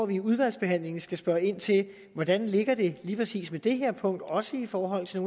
vi i udvalgsbehandlingen skal spørge ind til hvordan det ligger lige præcis med det her punkt også i forhold til